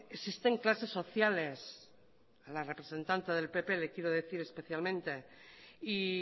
existen clases sociales a la representante del pp le quiero decir especialmente y